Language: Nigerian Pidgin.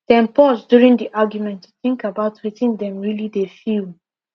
dem pause during the argument to think about wetin dem really dey feel